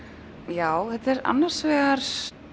já þetta er annars vegar